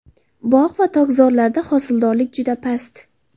Bog‘ va tokzorlarda hosildorlik juda past.